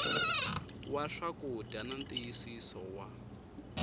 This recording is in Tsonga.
wa swakudya na ntiyisiso wa